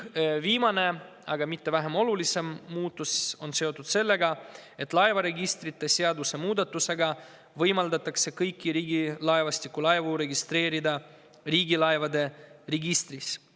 Viimane, aga mitte vähem oluline muudatus on seotud sellega, et laevaregistrite seaduse muudatusega võimaldatakse kõiki Riigilaevastiku laevu registreerida riigilaevade registris.